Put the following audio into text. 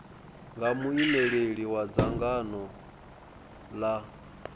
nga muimeli wa dzangano la